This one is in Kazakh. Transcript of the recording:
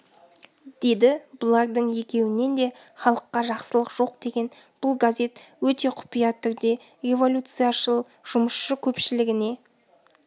деді бұлардың екеуінен де халыққа жақсылық жоқ деген бұл газет өте құпия түрде революцияшыл жұмысшы көпшілігіне